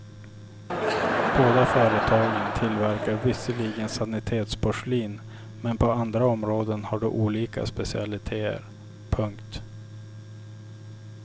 Båda företagen tillverkar visserligen sanitetsporslin men på andra områden har de olika specialiteter. punkt